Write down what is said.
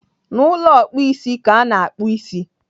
N'ụlọ ọkpụisi ka ana akpụ ịsị.